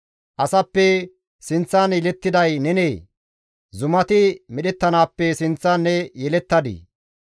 «Asappe sinththan yelettiday nenee? Zumati medhettanaappe sinththan ne yelettadii?